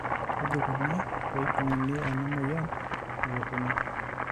kaji ikoni pee ejung'uni ena moyian elukunya?